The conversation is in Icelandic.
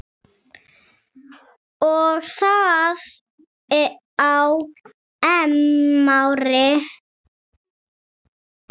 Og það á EM-ári.